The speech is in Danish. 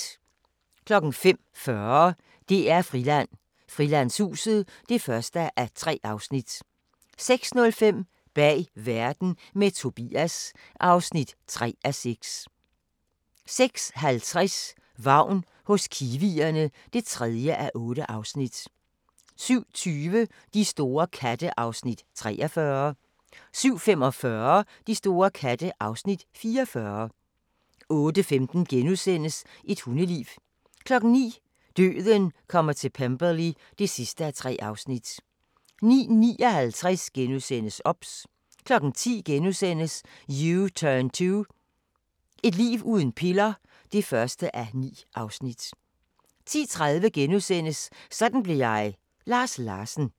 05:40: DR-Friland: Frilandshuset (1:3) 06:05: Bag Verden – med Tobias (3:6) 06:50: Vagn hos kiwierne (3:8) 07:20: De store katte (Afs. 43) 07:45: De store katte (Afs. 44) 08:15: Et hundeliv * 09:00: Døden kommer til Pemberley (3:3) 09:59: OBS * 10:00: U-turn 2 – et liv uden piller (1:9)* 10:30: Sådan blev jeg – Lars Larsen *